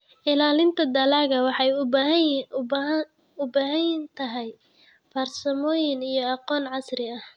Ilaalinta dalagga waxay u baahan tahay farsamooyin iyo aqoon casri ah.